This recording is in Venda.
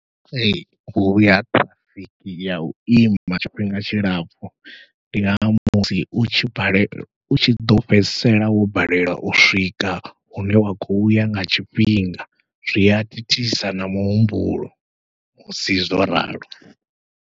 Ee huya ṱhirafiki yau ima tshifhinga tshilapfhu, ndi nga musi utshi balela utshi ḓo fhedzisela wo balelwa u swika hune wa khou ya nga tshifhinga zwia thithisa na muhumbulo musi zwo ralo.